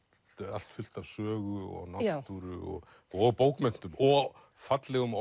allt fullt af sögu og náttúru og og bókmenntum og fallegum